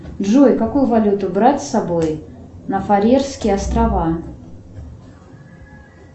джой какую валюту брать с собой на фарерские острова